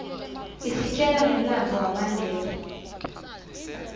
isitjela ngemlandvo wamandela